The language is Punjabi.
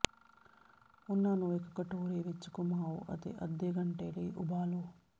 ਉਹਨਾਂ ਨੂੰ ਇੱਕ ਕਟੋਰੇ ਵਿੱਚ ਘੁਮਾਓ ਅਤੇ ਅੱਧੇ ਘੰਟੇ ਲਈ ਉਬਾਲੋ